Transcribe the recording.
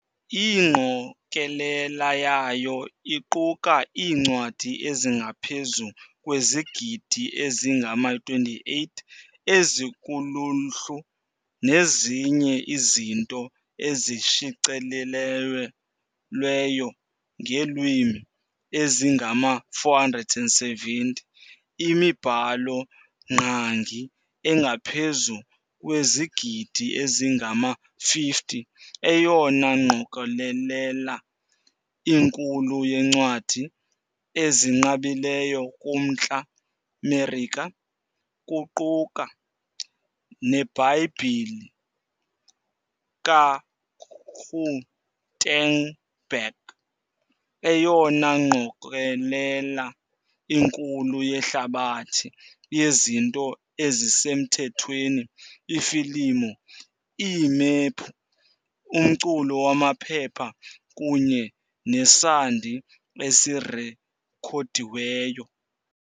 Ingqokelela yayo iquka iincwadi ezingaphezu kwezigidi ezingama-28 ezikuluhlu nezinye izinto ezishicilelweyo ngeelwimi ezingama-470, imibhalo-ngqangi engaphezu kwezigidi ezingama-50, eyona ngqokelela inkulu yeencwadi ezinqabileyo kuMntla Merika, kuquka neBhayibhile kaGutenberg, eyona ngqokelela inkulu yehlabathi yezinto ezisemthethweni, iifilimu, iimephu, umculo wamaphepha kunye nesandi esirekhodiweyo.